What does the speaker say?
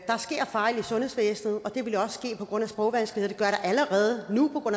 sker fejl i sundhedsvæsenet og det vil der også ske på grund af sprogvanskeligheder det der allerede nu på